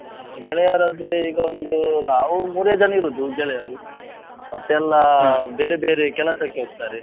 ಅಹ್ ಗೆಳೆಯರು ಅಂದ್ರೆ ಈಗ ಒಂದು ನಾವು ಮೂರು ಜನ ಇರುದು ಗೆಳೆಯರು, ಬೇರೆ ಬೇರೆ ಕೆಲಸಕ್ಕೆ ಹೋಗ್ತಾರೆ.